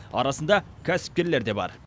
арасында кәсіпкерлер де бар